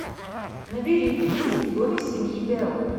набери призрак в доме семьи белл